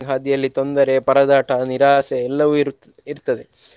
ಹಾದಿಯಲ್ಲಿ ತೊಂದರೆ, ಪರದಾಟ, ನಿರಾಶೆ ಎಲ್ಲವೂ ಇರುತ್~ ಇರ್ತದೆ.